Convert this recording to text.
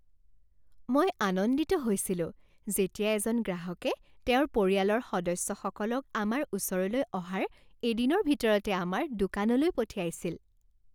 মই আনন্দিত হৈছিলোঁ যেতিয়া এজন গ্ৰাহকে তেওঁৰ পৰিয়ালৰ সদস্যসকলক আমাৰ ওচৰলৈ অহাৰ এদিনৰ ভিতৰতে আমাৰ দোকানলৈ পঠিয়াইছিল।